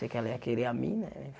Pensei que ela ia querer a mim, né né?